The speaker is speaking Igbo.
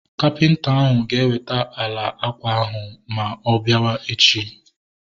Kapịnta ahu ga eweta ala ákwà ahu ma ọ biawa echi